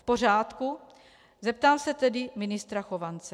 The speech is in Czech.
V pořádku, zeptám se tedy ministra Chovance.